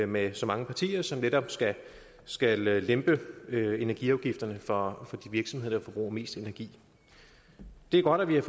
med så mange partier som netop skal skal lempe energiafgifterne for de virksomheder der forbruger mest energi det er godt at vi har